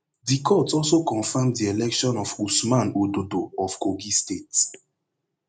di court also confam di election of usman ododo of kogi state